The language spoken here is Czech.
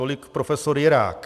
Tolik prof. Jirák.